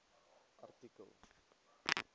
artikel